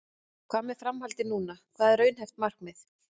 Hvað með framhaldið núna, hvað er raunhæft markmið?